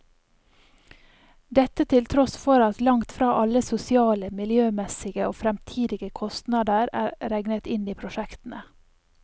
Dette til tross for at langt fra alle sosiale, miljømessige og fremtidige kostnader er regnet inn i prosjektene.